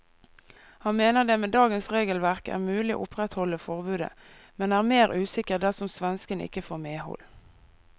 Han mener det med dagens regelverk er mulig å opprettholde forbudet, men er mer usikker dersom svenskene ikke får medhold.